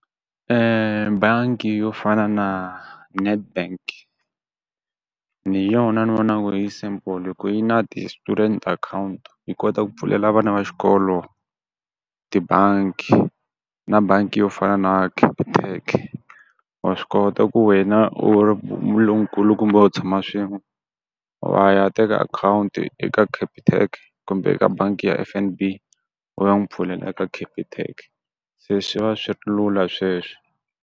bangi yo fana na Nedbank hi yona ni vonaku ku ri yi simple hi ku yi na ti-student account, yi kota ku pfulela vana va xikolo tibangi na bangi yo fana na Capitec wa swi kota ku wena u tshama swin'we wa ya teka account eka capitec kumbe eka bangi ya F_N_B u ya n'wi pfulela eka Capitec, se swi va swi ri lula sweswe.